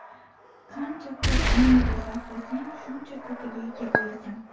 Qancha ko‘p energiya sarflasang, shuncha ko‘piga ega bo‘lasan.